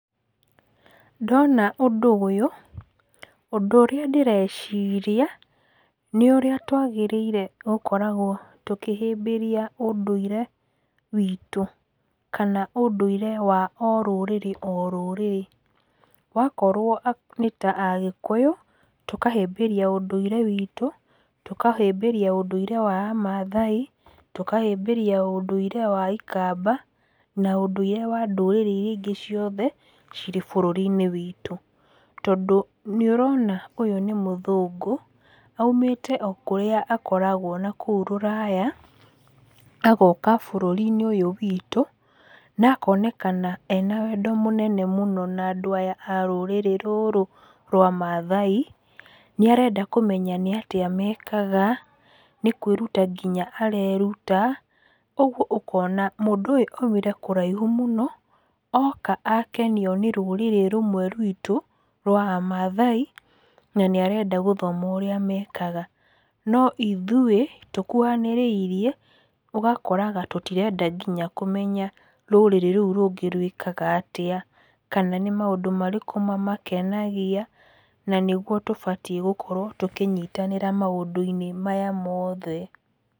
Ndona ũndũ ũyũ, ũndũ ũrĩa ndĩreciria, nĩ ũrĩa twagĩrĩirwo gũkoragwo tũkĩhĩmbĩria ũndũire witũ kana ũndũire wa o rũrĩrĩ o rũrĩrĩ. Wakorwo nĩ ta agĩkũyũ, tũkahĩmbĩria ũndũire wĩtũ, tũkahĩmbĩria ũndũire wa a Mathai, tũkahĩmbĩria ũndũire wa Ikamba na ũndũire wa ndũrĩrĩ irĩa ingĩ ciothe cirĩ bũrũri-inĩ wĩtũ, tondũ nĩ ũrona ũyũ nĩ mũthũngũ, aumĩte o kũrĩa akoragwo na kũu rũraya, agoka bũrũri-inĩ ũyũ witũ na akonekana ena wendo mũnene mũno na andũ aya a rũrĩrĩ rwa Mathai, nĩ arenda kũmenya nĩ atĩa mekaga. Nĩ kwĩruta nginya areruta, ũguo ũkona mũndũ ũyũ aumire kũraihu mũno, oka akenio nĩ rũrĩrĩ rũmwe rwitũ rwa amathai na nĩ arenda gũthoma ũrĩa mekaga. No ithuĩ tũkuhanĩrĩirie, ũgakoraga tũtirenda nginya kũmenya rũrĩrĩ rũu rũngĩ rwĩkaga atĩa, kana nĩ maũndũ marĩkũ mamakenagia, na nĩ guo tũbatiĩ gũkorwo tũkĩnyitanĩra maũndũ-inĩ maya mothe.